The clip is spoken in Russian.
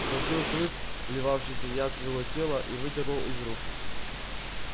схватил клык вливавшийся яд в его тело и выдернул из рук